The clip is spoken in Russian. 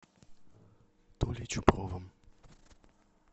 толей чупровым